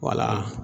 Wala